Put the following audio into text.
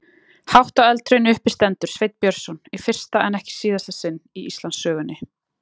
Hátt á eldhrauni uppi stendur Sveinn Björnsson í fyrsta en ekki síðasta sinn í Íslandssögunni.